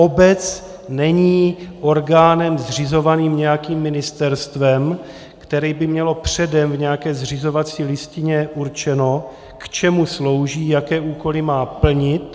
Obec není orgánem zřizovaným nějakým ministerstvem, které by mělo předem v nějaké zřizovací listině určeno, k čemu slouží, jaké úkoly má plnit.